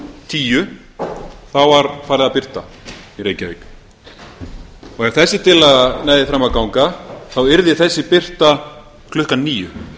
tíu var farið að birta í reykjavík ef þessi tillaga næði fram að ganga yrði þessi birta klukkan níu